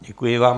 Děkuji vám.